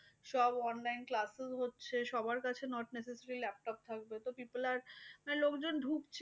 সব online class শুরু হচ্ছে। সবার কাছে not necessarylaptop থাকতো। তো peple are মানে লোকজন ঢুকছে